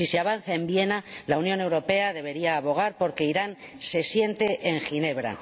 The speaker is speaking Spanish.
Si se avanza en Viena, la Unión Europea debería abogar por que Irán se siente en Ginebra.